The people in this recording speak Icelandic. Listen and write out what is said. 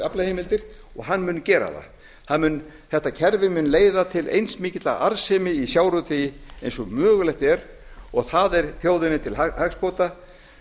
aflaheimildir og hann muni gera það þetta kerfi mun leiða til eins mikillar arðsemi í sjávarútvegi eins og mögulegt er og það er þjóðinni til hagsbóta